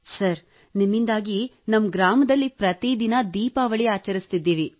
sir ನಿಮ್ಮಿಂದಾಗಿ ನಮ್ಮ ಗ್ರಾಮದಲ್ಲಿ ಪ್ರತಿದಿನ ದೀಪಾವಳಿ ಆಚರಿಸುತ್ತಿದ್ದೇವೆ